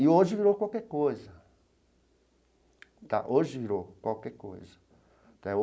E hoje virou qualquer coisa tá hoje virou qualquer coisa tá.